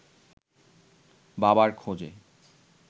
বাবার খোঁজে